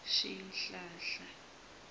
swihlahla